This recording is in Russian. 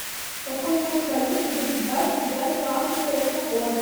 какой курс валюты будет двадцать девятого августа этого года